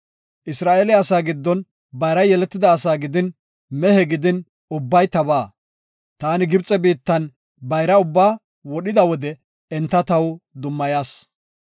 Isra7eele asaa giddon bayra yeletida ase gidin mehe gidin ubbay tabaa. Taani Gibxe biittan bayra ubbaa wodhida wode enta taw dummayas.